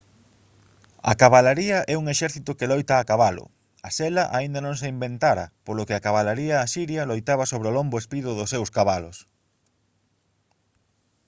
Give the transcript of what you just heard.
a cabalaría é un exército que loita a cabalo a sela aínda non se inventara polo que a cabalaría asiria loitaba sobre o lombo espido dos seus cabalos